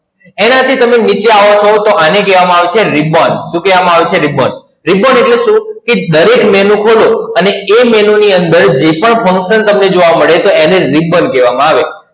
એનાથી તમે નીચે આવો છો તો આને કહેવામા આવે છે, Ribbon શું કહેવામા આવે છે? RibbonRibbon એટલે શું? કે દરેક Menu ખોલો અને એ Menu ની અંદર જે પણ function તમને જોવા મળે છે એને Ribbon કહેવામા આવે છે.